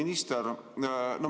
Austatud minister!